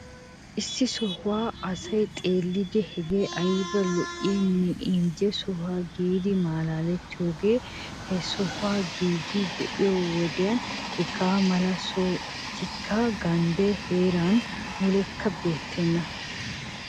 Issi sohuwa asay xeellidi hagee ayba lo'iyanne injje sohoo giidi maalalettiyogee he.sohuwa giigaa be'iyo wodiyana. Hagaa mala sohotikka ganddaa heeran mulekka beettokkona.